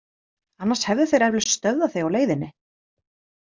Annars hefðu þeir eflaust stöðvað þig á leiðinni.